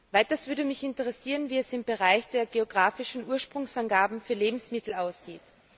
Weiters würde mich interessieren, wie es im Bereich der geografischen Ursprungsangaben für Lebensmittel aussieht.